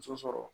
Muso sɔrɔ